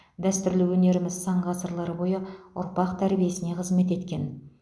дәстүрлі өнеріміз сан ғасырлар бойы ұрпақ тәрбиесіне қызмет еткен